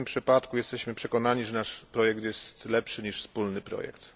W tym przypadku jesteśmy przekonani, że nasz projekt jest lepszy niż wspólny projekt.